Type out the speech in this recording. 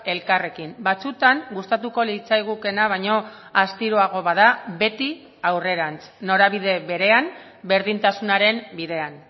elkarrekin batzutan gustatuko litzaigukeena baino astiroago bada beti aurrerantz norabide berean berdintasunaren bidean